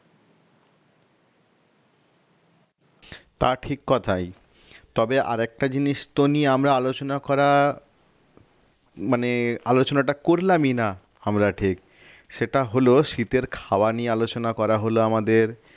তা ঠিক কথাই তবে আর একটা জিনিস তো নিয়ে আমরা আলোচনা করা মানে আলোচনাটা করলামই না আমরা ঠিক সেটা হল শীতের খাওয়া নিয়ে আলোচনা করা হলো আমাদের